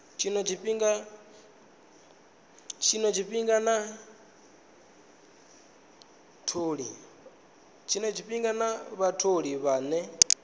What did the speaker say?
tshino tshifhinga na vhatholi vhane